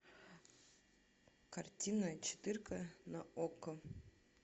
картина четырка на окко